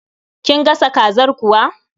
Kin gasa kazar kuwa?